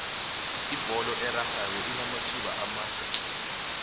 ibholo erarhwako inamathuba amahle tle